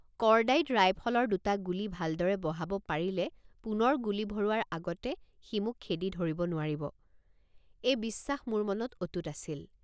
Cordite ৰাইফলৰ দুটা গুলী ভালদৰে বহাব পাৰিলে পুনৰ গুলী ভৰোৱাৰ আগতে সি মোক খেদি ধৰিব নোৱাৰিব এই বিশ্বাস মোৰ মনত অটুট আছিল।